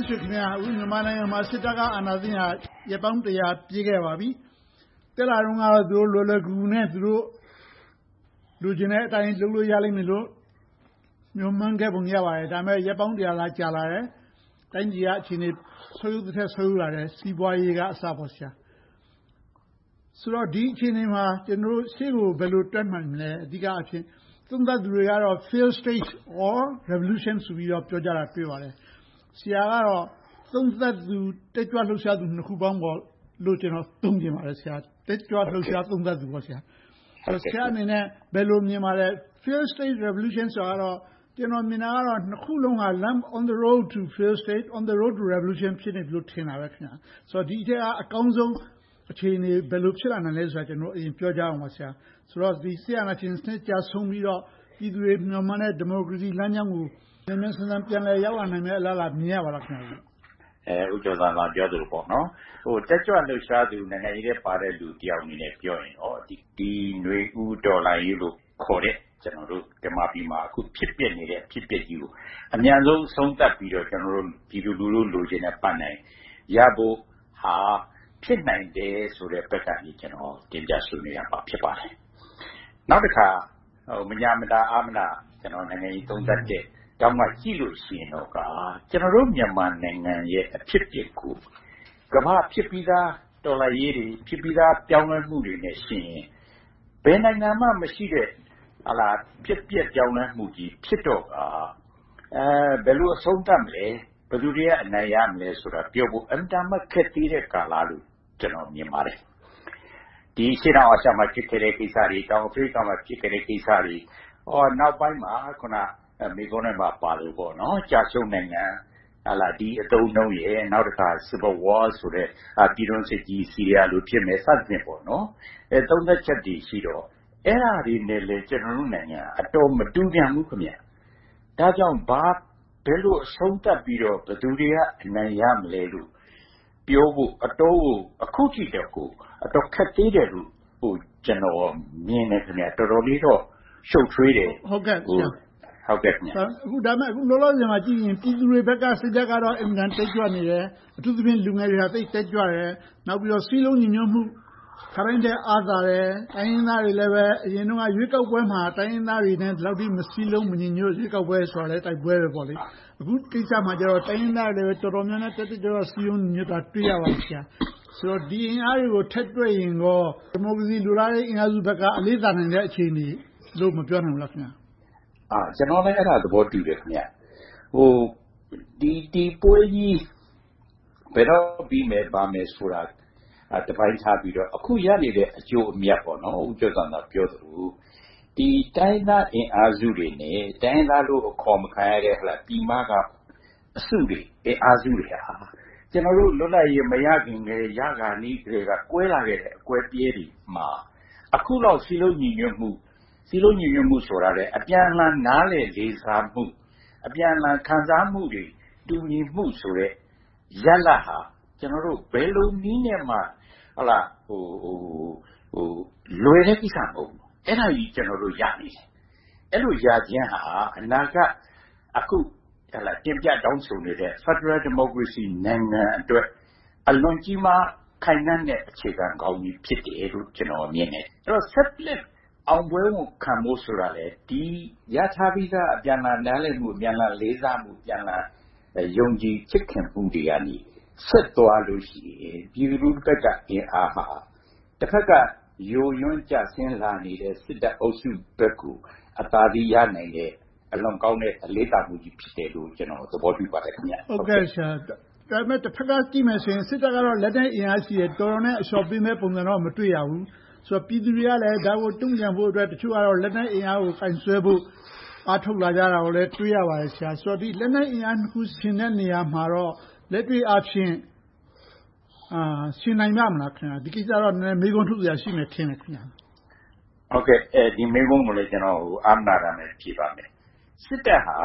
့်ဆွေခင်များ.. အခု မြန်မာနိုင်ငံမှာ စစ်တပ်က အာဏာသိမ်းခဲ့တာ ရက်ပေါင်း ပြည့်ခဲ့ပါပြီ။ တက်လာတုန်းကတော့ လွယ်လွယ်ကူကူနဲ့ သူတို့ လိုချင်တဲ့အတိုင်း လုပ်လို့ရလိမ့်မယ်လို့ မျှော်မှန်းခဲ့ပုံ ရပါတယ်။ ဒါပေမဲ့ ရက် သာ ကြာလာခဲ့တယ်။ တိုင်းပြည်က အခြေအနေ ဆုတ်ယုတ်သထက် ဆုတ်ယုတ်လာခဲ့တယ်။ စီးပွားရေးကအစပေါ့။ ဆိုတော့ ဒီအခြေအနေမှာ ကျနော်တို့ရှေ့ကို ဘယ်လိုတက်နိုင်မလဲ။ အဓိကအားဖြင့် သုံးသပ်သူတွေကတော့ Failed state or Revolution ဆိုပြီး ပြောကြတယ်။ ဆရာကတော့ သုံးသပ်သူ၊ တက်ကြွလှုပ်ရှားသူ နှစ်ခုပေါင်းလို့ သုံးချင်ပါတယ်။ တက်ကြွလှုပ်ရှား သုံးသပ်သူပေါ့။ ဆရာအနေနဲ့ ဘယ်လိုမြင်ပါသလဲ။ Failed state revolution ဆိုတာတော့ ကျနော်မြင်တာကတော့ နှစ်ခုစလုံးက on the road to a failed state, on the road to revolution ဖြစ်နေပြီလို့ ထင်တာပဲ။ ဒီအထဲက အကောင်းဆုံးအခြေအနေ ဘယ်လိုဖြစ်လာနိုင်မလဲဆိုတာကို ပြောကြရအောင်ပါ။ စစ်အာဏာရှင်စနစ် ကျဆုံးပြီးတော့ ပြည်သူတွေမျှော်မှန်းတဲ့ ဒီမိုကရေစီလမ်းကြောင်းကို မြန်မြန်ဆန်ဆန် ပြန်လည်ရောက်လာနိုင်မယ့် အလားအလာ မြင်ရပါသလား။ ဦးကျော်ဇံသာ ပြောသလို၊ တက်ကြွလှုပ်ရှားသူ နိုင်ငံရေးထဲပါတဲ့ လူတယောက်အနေနဲ့ ပြောရင်တော့ နွေဦးတော်လှန်ရေးခေါ်တဲ့ မြန်မာပြည်မှာ ဖြစ်ပျက်နေတဲ့ အဖြစ်အပျက်ကြီးကို အမြန်ဆုံး အဆုံးသတ်ပြီးတော့ ပြည်သူလူထု လိုချင်တဲ့ပန်းတိုင်ရဖို့ဟာ ဖြစ်နိုင်တယ်ဆိုတဲ့ဘက်ကနေ ကျနော် တင်ပြဆွေးနွေးရမှာ ဖြစ်ပါတယ်။ နောက်တခါ မညှာမတာ၊ အားမနာ နိုင်ငံရေးသုံးသပ်တဲ့ထောင့်ကနေ ကြည့်လို့ရှိရင်တော့ ကျနော်တို့ မြန်မာနိုင်ငံရဲ့ အဖြစ်အပျက်ကို ကမ္ဘာဖြစ်ပြီသား တော်လှန်ရေးတွေ၊ ဖြစ်ပြီသား ပြောင်းလဲမှုတွေနဲ့ယှဉ်ရင် ဘယ်နိုင်ငံမှမရှိတဲ့ ဖြစ်ပျက်ပြောင်းလဲမှုကြီး ဖြစ်တော့ကာ ဘယ်လိုအဆုံးသတ်မလဲ။ ဘယ်သူတွေက အနိုင်ရမလဲဆိုတာ အင်မတန်မှ ခက်သေးတဲ့ကာလလို့ ကျနော်မြင်ပါတယ်။ ဒီအရှေ့တောင်အာရှမှာ ဖြစ်ခဲ့တဲ့ကိစ္စတွေ၊ တောင်အာဖရိကမှာ ဖြစ်ခဲ့တဲ့ကိစ္စတွေ၊ နောက်ပိုင်းမှာ မေးခွန်းထဲမှာပါသလို ကျရှုံးနိုင်ငံ ဒီအသုံးအနှုန်းနဲ့ နောက်တခါ Civil war ဆိုတဲ့ ပြည်တွင်းစစ်ကြီး ဆီးရီယားလို ဖြစ်မယ် စသည်ဖြင့် သုံးသပ်ချက်တွေရှိတော့ အဲဒါတွေနဲ့လဲ ကျနော်တို့နိုင်ငံက မတူပြန်ဘူး။ ဒါကြောင့် ဘယ်လိုအဆုံးသတ်ပြီးတော့ ဘယ်သူတွေက အနိုင်ရမလဲလို့ ပြောဖို့ အခုထိ အတော်ကို ခက်သေးတယ်လို့ ကျနော်မြင်တယ်။ တော်တော်လေးတော့ ရှုပ်ထွေးတယ်။ ဒါပေမဲ့ အခုလောလောဆယ်မှာကြည့်ရင် ပြည်သူတွေဘက်က စိတ်ဓါတ်ကတော့ အင်မတန်တက်ကြွနေတယ်။ အထူးသဖြင့် လူငယ်တွေက သိပ်တက်ကြွတယ်။ နောက်ပြီးတော့ စည်းလုံးညီညွှတ်မှု ခါတိုင်းထက် အားသာတယ်။ တိုင်းရင်းသားတွေလည်း အရင်တုန်းက ရွေးကောက်ပွဲမှာ တိုင်းရင်းသားတွေနဲ့ ဒီလောက်ထိ မစည်းလုံး၊ မညီညွှတ် ရွေးကောက်ပွဲဆိုတာလဲ တိုက်ပွဲပဲပေါ့။ အခုကိစ္စမှာတော့ တိုင်းရင်းသားတွေလည်း တော်တော်လေး တက်တက်ကြွကြွ စည်းလုံးညီညွှတ်တာကို တွေ့ရပါတယ်။ ဆိုတော့ ဒီအင်အားတွေကို ထည့်တွက်ရင်ကော ဒီမိုကရေစီအင်အားစုဘက်က အလေးသာနေတဲ့ အခြေအနေလို့ မပြောနိုင်ဘူးလား။ ကျနော်လည်း အဲဒါကို သဘောတူတယ်။ ဒီပွဲကြီး ဘယ်တော့ပြီမယ်၊ ဘာမယ်ဆိုတာဆိုတာကို တပိုင်းထားပြီးတော့ အခုရနေတဲ့ အကျိုးအမြတ်။ ဦးကျော်ဇံသာ ပြောသလို တိုင်းရင်းသားအင်အားစုတွေနဲ့ တိုင်းရင်းသားလို့ အခေါ်မခံရတဲ့ ပြည်မက အစုတွေ၊ အင်အားစုတွေဟာ ကျနော်တို့ လွတ်လပ်ရေး မရခင်ကတည်း၊ ရခါနီးကတည်းက ကွဲလာခဲ့တဲ့ အကွဲအပြဲတွေမှာ အခုလောက် စည်းလုံးညီညွှတ်မှု၊ စည်းလုံးညီညွှတ်မှုဆိုတာထက် အပြန်အလှန် နားလည်လေးစားမှု၊ အပြန်အလှန် ခံစားမှုတွေ တူညီမှုဆိုတဲ့ ရလဒ်ဟာ ဘယ်လိုနည်းနဲ့မှ လွယ်တဲ့ကိစ္စမဟုတ်ဘူး။ အဲဒါတွေကို ကျနော်တို့ ရနေတယ်။ အဲဒီလိုရခြင်းဟာ အနာဂတ် အခုတင်ပြတောင်းဆိုနေတဲ့ ဖယ်ဒရယ်ဒီမိုကရေစီနိုင်ငံအတွက် အလွန်ကြီးမားခိုင်ခန့်တဲ့ အခြေခံကောင်းကြီး ဖြစ်တယ်လို့ ကျနော်မြင်တယ်။ အဲဒီတော့ ဆက်လက်အောင်ပွဲခံဖို့ဆိုတာလဲ ဒီရထားပြီသား အပြန်အလှန် နားလည်မှု၊ အပြန်အလှန် လေးစားမှု၊ အပြန်အလှန် ယုံကြည်ချစ်ခင်မှုတွေကနေ ဆက်သွားလို့ရှိရင် ပြည်သူလူထုဘက်က အင်အားဟာ တဘက်က ယိုးယွင်းကျဆင်းလာနေတဲ့ စစ်တပ်အုပ်စုဘက်ကို အသာစီးရနိုင်တဲ့၊ အလွန်ကောင်းတဲ့ အလေးသာမှုကြီး ဖြစ်တယ်လို့ ကျနော်အနေနဲ့ သဘောတူပါတယ်။ ဒါပေမဲ့ တဘက်ကကြည့်မယ်ဆိုရင် စစ်တပ်ကတော့ လက်နက်အင်အားရှိတယ်။ တော်တော်နဲ့ အလျှော့ပေးမယ့် ပုံစံကိုတော့ မတွေ့ရဘူး။ ပြည်သူတွေကလဲ ဒါကိုတုံ့ပြန်ဖို့အတွက် တချို့ကတော့ လက်နက်အင်အားကို ကိုင်စွဲဖို့ အားထုတ်လာကြတာကို တွေ့ရပါတယ်။ ဒီလက်နက်အင်အားနှစ်ခု ယှဉ်တဲ့နေရာမှာတော့ လက်တွေ့အားဖြင့် ယှဉ်နိုင်ပါ့မလား။ ဒီကိစ္စကိုတော့ နည်းနည်းမေးခွန်းထုတ်စရာ ရှိမယ်ထင်တယ်။ ဒီမေးခွန်းကိုလည်း ကျနော် အားမနာတမ်း ဖြေပါမယ်။ စစ်တပ်ဟာ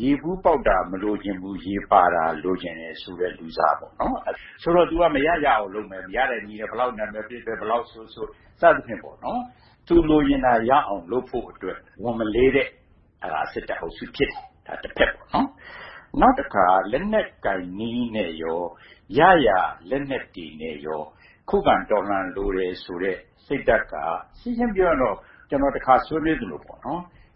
ရေဘူးပေါက်တာ မလိုချင်ဘူး၊ ရေပါတာ လိုချင်တယ်ဆိုတဲ့ လူစား။ သူက မရရအောင်လုပ်မယ်။ ရတဲ့နည်းနဲ့ ဘယ်လောက်နာမည်ပျက်ပျက်၊ ဘယ်လောက်ဆိုးဆိုး စသည်ဖြင့် သူ လိုချင်တာရအောင် လုပ်ဖို့အတွက် ဝန်မလေးတဲ့ စစ်တပ်အုပ်စု ဖြစ်တယ်။ နောက်တခါ လက်နက်ကိုင်နည်းနဲ့ရော၊ ရရလက်နက်တွေနဲ့ရော ခုခံကာကွယ်လိုတယ်ဆိုတဲ့ စိတ်ဓါတ်က ရှင်းရှင်းပြောရရင်တော့ ကျနော် တခါဆွေးနွေးသလို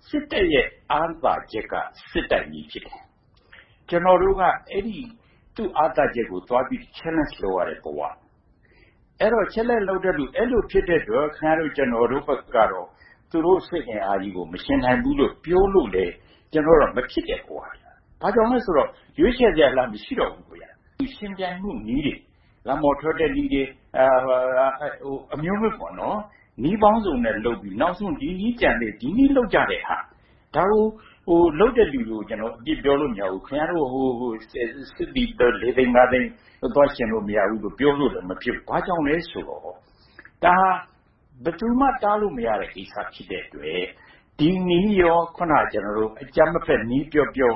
စစ်တပ်ရဲ့ အားသာချက်က စစ်တိုက်နည်း ဖြစ်တယ်။ ကျနော်တို့က သူ့အားသာချက်ကို သွားပြီးတော့ challenge လုပ်ရတဲ့ဘဝ။ အဲဒီတော့ အဲဒီလိုဖြစ်တဲ့အတွက် ခင်များတို့ ကျနော်တို့ဘက်ကတော့ သူတို့စစ်အင်အားကြီးကို မယှဉ်နိုင်ဘူးလို့ ပြောလို့လဲ မဖြစ်တဲ့ဘဝ။ ဘာကြောင့်လဲဆိုတော့ ရွေးချယ်စရာလမ်း မရှိတော့ဘူး။ ယှဉ်ပြိုင်မှုနည်းတွေ - လမ်းပေါ်ထွက်တဲ့နည်းတွေ အမျိုးမျိုး၊ နည်းပေါင်းစုံနဲ့ လုပ်ပြီးတော့ နောက်ဆုံး ဒီနည်းကျန်သေးတယ်။ ဒီနည်းလုပ်ကြတဲ့ဟာ ဒါကို လုပ်တဲ့လူတွေကို အပြစ်ပြောလို့ မရဘူး။ ခင်များတို့ စစ်သည် လေးသိန်းငါသိန်းကို သွားယှဉ်လို့ မရဘူးဆိုပြီး ပြောလို့လဲ မဖြစ်ဘူး။ ဘာကြောင့်လဲဆိုတော့ ဒါက ဘယ်သူမှ တားလို့မရတဲ့ ကိစ္စ ဖြစ်တဲ့အတွက် ဒီနည်းနဲ့ အခုန ကျနော်တို့ အကြမ်းမဖက်နည်း ပြောပြော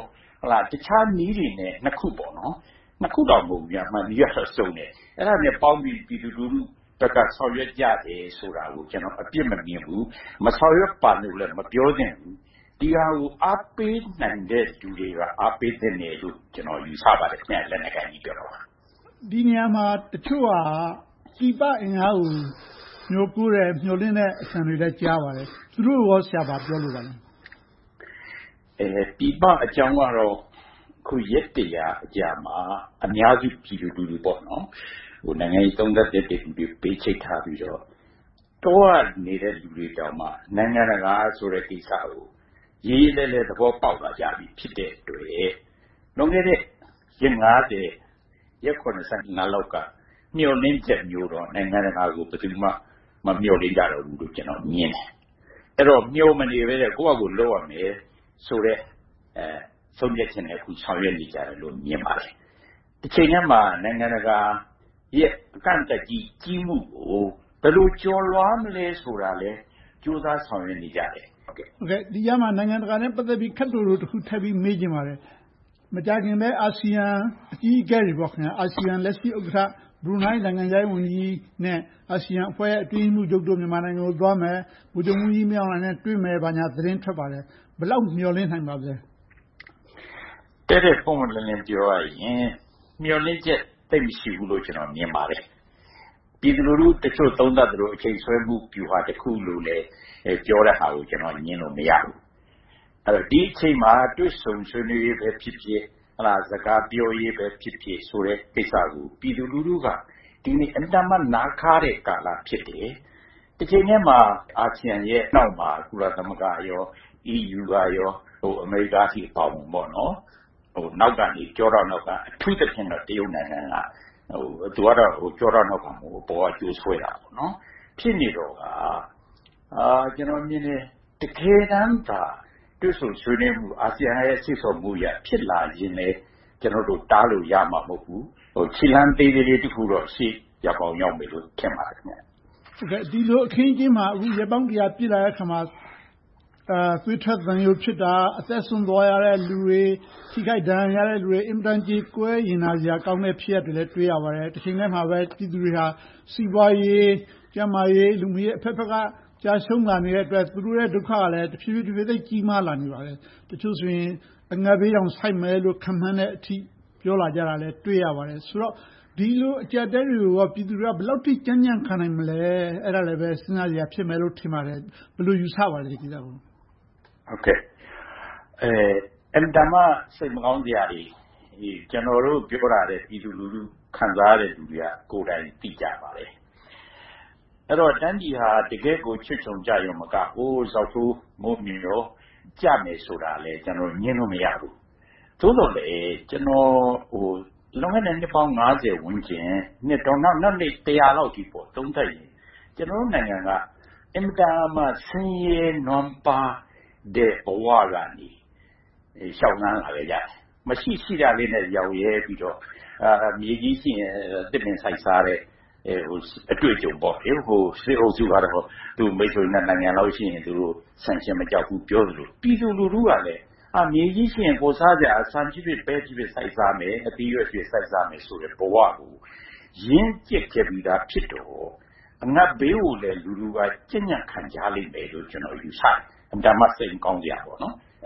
၊ တခြားနည်းတွေနဲ့ နှစ်ခုအပြင် နည်းတွေကစုံတယ်။ အဲဒါတွေနဲ့ပေါင်းပြီး ပြည်သူလူထုဘက်က ဆောင်ရွက်ကြတယ်ဆိုတာကို ကျနော် အပြစ်မမြင်ဘူး။ မဆောင်ရွက်ပါနဲ့လို့လဲ မပြောသင့်ဘူး။ ဒီဟာကို အားပေးနိုင်တဲ့လူတွေက အားပေးသင့်တယ်လို့ ကျနော် ယူဆပါတယ် - လက်နက်ကိုင်နည်းကိတော့။ ဒီနေရာမှာ တချို့က ပြည်ပအင်အားကို မျှော်လင့်မျှော်ကိုးတဲ့ အသံတွေကိုလည်း ကြားရပါတယ်။ သူတို့ကိုကော ဘာပြောလိုပါလဲ။ ပြည်ပအကြောင်းကတော့ အခု ရက် အကြာမှာ အများစု ပြည်သူလူထု - နိုင်ငံရေး သုံးသပ်သူတတ်သူတွေကို ဘေးချိတ်ထားပြီးတော့ တောကနေသူတွေတောင်မှ နိုင်ငံတကာဆိုတဲ့ ကိစ္စကို ရေရေလည်လည် သဘောပေါက်လာကြပြီ ဖြစ်တဲ့အတွက် လွန်ခဲ့တဲ့ ရက် ရက် လောက်က မျှော်လင့်ချက်မျိုးတော့ နိုင်ငံတကာကို ဘယ်သူမှ မမျှော်လင့်ကြဘူးတော့လို့ ကျနော်မြင်တယ်။ အဲဒီတော့ မျှော်မနေဘဲနဲ့ ကိုယ်ဘာသာကိုယ် လုပ်ရမယ်ဆိုတဲ့ ဆုံးဖြတ်ချက်နဲ့ အခုဆောင်ရွက်နေကြတယ်လို့ မြင်ပါတယ်။ တချိန်တည်းမှာ နိုင်ငံတကာရဲ့ အကန့်အသတ်ကြီး ကြီးမှုကို ဘယ်လိုကျော်လွှာမလဲ ဆိုတာကိုလည်း ကြိုးစားဆောင်ရွက်နေကြတယ်။ ဒီကြားထဲမှာ နိုင်ငံတကာနဲ့ ပတ်သက်ပြီးတော့ ခပ်တိုတိုတခုကို ထပ်ပြီးမေးချင်ပါတယ်။ မကြာခင်ပဲ အာဆီယံအကြီးအကဲတွေ - အာဆီယံလက်ရှိ ဥက္ကဋ္ဌ ဘရူးနိုင်း နိုင်ငံခြားရေးဝန်ကြီးနဲ့ အာဆိယံအဖွဲ့ရဲ့ အတွင်းရေးမှူးချုပ်တို့ မြန်မာနိုင်ငံကိုသွားမယ်။ ဗိုလ်ချုပ်မှူးကြီး မင်းအောင်လှိုင်နဲ့ တွေ့မယ် ဘာညာသတင်းထွက်ပါတယ်။ ဘယ်လောက်မျှော်လင့်နိုင်ပါသလဲ။ တည့်တည့်ပွင့်ပွင့်လင်းလင်း ပြောရရင် မျှော်လင့်ချက် သိပ်မရှိဘူးလို့ မြင်ပါတယ်။ ပြည်သူလူထုတချို့ သုံးသပ်သလို အချိန်ဆွဲမှု ဗျူဟာတခုလို့ ပြောတဲ့ဟာကို ကျနော်က ငြင်းလို့မရဘူး။ ဒီအချိန်မှာ တွေ့ဆုံဆွေးနွေးရေးပဲဖြစ်ဖြစ် စကားပြောရေးပဲဖြစ်ဖြစ်ဆိုတဲ့ ကိစ္စကို ပြည်သူလူထုက ဒီနေ့ အင်မတန်မှ နားခါးတဲ့ ကာလ ဖြစ်တယ်။ တချိန်တည်းမှာ အာဆီယံရဲ့နောက်မှာ ကုလသမဂ္ဂ၊ EU, အမေရိကအထိ အပါအဝင် နောက်ကနေ - ကျောထောက်နောက်က။ အထူးသဖြင့် တရုတ်နိုင်ငံ။ သူကတော့ ကျောထောက်နောက်ခံ မဟုတ်ဘူး။ အပေါ်က ကြိုးဆွဲရာ ဖြစ်နေတော့က ကျနော်မြင်တယ် တကယ်တမ်းသာ တွေ့ဆုံဆွေးနွေးမှုက အာဆီယံရဲ့ စေ့ဆော်မှုအရ ဖြစ်လာရင်လဲ ကျနော်တို့ တားလို့ရမှာ မဟုတ်ဘူး။ ခြေလှမ်းသေးလေးလေး တခုတော့ ရောက်ကောင်းရောက်ပါလိမ့်မယ်။ ဒီလိုအခင်းအကျင်းမှာ ရက်ပေါင်း ပြည့်လာတဲ့အခါမှာ သွေးထွက်သံယိုဖြစ်တာ။ အသက်စွန့်သွားရတဲ့ လူတွေ။ ထိခိုက်ဒဏ်ရာရတဲ့လူတွေ င်မတန်ကြေကွဲရင်နာစရာ ဖြစ်ရပ်တွေကိုလည်း တွေ့ရပါတယ်။ တချိန်ထဲမှာပဲ ပြည်သူတွေက စီးပွားရေး၊ ကျန်းမာရေး၊ လူမှုရေး အဘက်ဘက်က ကျရံှုးလာနေတဲ့အတွက် သူတို့ရဲ့ ဒုက္ခကလဲ တဖြည်းဖြည်း သိပ်ကြီးမာလာနေပါတယ်။ တချို့ဆိုရင် အငတ်ဘေးတောင် ဆိုက်မယ်လို့ ခန့်မှန်းထားတဲ့အထိ ပြောလာကြတာကိုလဲ တွေ့ရပါတယ်။ ဆိုတော့ ဒီလိုအကျပ်အတည်းတွေကို ပြည်သူတွေက ဘယ်လောက်အထိ ကြံ့ကြံ့ခံနိုင်မလဲ။ အဲဒါလဲပဲ စဉ်းစားစရာ ဖြစ်မယ်လို့ ထင်ပါတယ်။ ဒီကိစ္စကို ဘယ်လိုယူဆပါလဲ။ အင်မတန်မှ စိတ်မကောင်းစရာတွေ။ ကျနော်တို့ ပြောတာထက် ပြည်သူလူထု ခံစားရတဲ့လူတွေက ကိုယ်တိုင်သိကြပါတယ်။ အဲဒီတော့ တိုင်းပြည်ဟာ တကယ့်ကို ချွတ်ခြုံကျရုံတင်မက ဇောက်ထိုးမိုးမျှော် ကျမယ်ဆိုတာလဲ ကျနော်တို့ ငြင်းလို့မရဘူး။ သို့သော်လဲ လွန်ခဲ့တဲ့ နှစ်ပေါင်း ဝန်းကျင်၊ နောက်ထပ် လောက်အထိ သုံးသပ်ရင် ကျနော်တို့နိုင်ငံက အင်မတန်မှ ဆင်းရဲနွမ်းပါးတဲ့ ဘဝကနေ လျှောက်လှမ်းလာခဲ့ကြတယ်။ ရှိတာလေးနဲ့ ရောင့်ရဲပြီးတော့ မြေကြီးရှိရင် သစ်ပင်စိုက်စားတဲ့ အတွေ့အကြုံပေါ့။ စစ်အုပ်စုက သူ့မိတ်ဆွေ နိုင်ငံလောက်ရှိရင် သူတို့ sanction မကြောက်ဘူး၊ ပြောနေသလို၊ ပြည်သူလူထုကလဲ မြေကြီးရှိရင် ဖော်စားစရာ - ဆန်ဖြစ်ဖြစ်၊ ပဲဖြစ်ဖြစ် စိုက်စားမယ်၊ အသီးအရွက်ဖြင့် စိုက်စားမယ်ဆိုတဲ့ ဘဝကို ရင့်ကြတ်ပြီသားဖြစ်တော့ အငတ်ဘေးကိုလည်း လူထုက ကြံ့ကြံ့ခံကြလိမ့်မယ်လို ယူဆတယ်။ အင်မတန်မှ စစ်မကောင်းစရာ။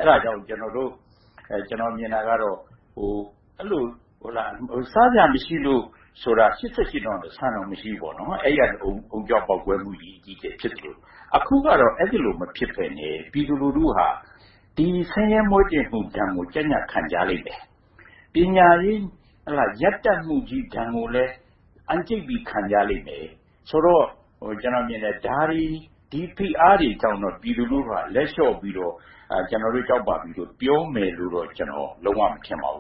အဲဒါကြောင့်မို့ ကျနော်မြင်တာကတော့ စားစရာမရှိလို့ဆိုတာက ၈၈ တုန်းက ဆန်တောင် မရှိဘူး။ အဲဒီကနေ အုံကြွပေါက်ကွဲမှုကြီး ဖြစ်သလို၊ အခုကတော့ အဲဒီလို မဖြစ်ဘဲနဲ့ ပြည်သူလူထုက ဆင်းရဲမှုဒဏ်ကို ကြံ့ကြံ့ခံကြလိမ့်မယ်။ ပညာရေးရပ်တန့်မှုကြီး ဒဏ်ကိုလည်း အံ့ကြိတ်ပြီး ခံကြလိမ့်မယ်ဆိုတော့ ဒီဖိအားတွေကြောင့် ပြည်သူလူထုက လက်လျှော့ပြီးတော့ ကျနော်တို့ ကြောက်ပါပြီလို့ ပြောမယ်လို့တော့ ကျနော် လုံးဝမထင်ပါဘူ